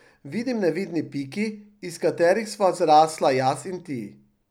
Vidim nevidni piki, iz katerih sva zrasla jaz in ti.